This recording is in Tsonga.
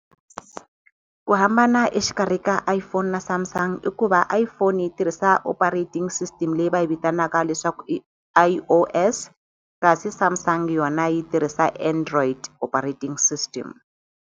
Ku hambana exikarhi ka iPhone na Samsung i ku va iPhone yi tirhisa operating system leyi va yi vitanaka leswaku i_O_S kasi Samsung yi tirhisa Android operating system.